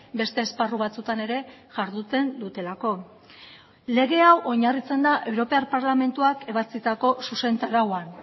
beste esparru batzutan ere jarduten dutelako lege hau oinarritzen da europar parlamentuak ebatzitako zuzentarauan